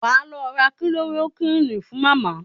Wá lọ ra Kilorokúínì fún Màmá.